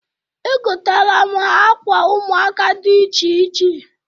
Egotara m ha akwa ụmuaka dị iche iche.